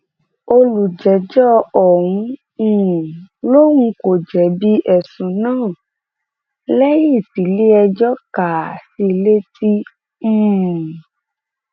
olùjẹjọ ọ̀hún um lòun kò jẹbi ẹsùn náà lẹyìn tiléẹjọ kà á sí i létí um